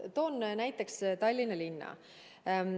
Toon näiteks Tallinna linna.